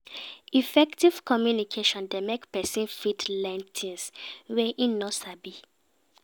Effective communication de make persin fit learn things wey im no sabi